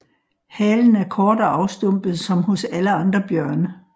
Halen er kort og afstumpet som hos alle andre bjørne